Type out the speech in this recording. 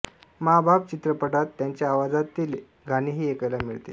मॉं बाप चित्रपटात त्यांच्या आवाज़ातेले गाणेही ऐकायला मिळते